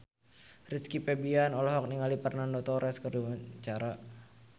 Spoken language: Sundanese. Rizky Febian olohok ningali Fernando Torres keur diwawancara